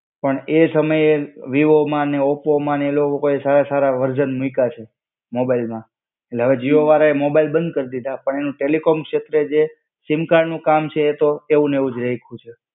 પણ એ સમયે વિવોમાં ને ઓપોમાં ને એ લોકોએ સારા સારા વરઝ્ન મુઈકા છે, મોબાઈલમાં. એટલે અવે જીઓ વાળાએ મોબાઈલ બંદ કર દીધા પણ એનું ટેલિકોમ શેત્રે જે, સિમ કાર્ડનું કામ છે એ તો એવુંને એવું જ રાઈખું છે.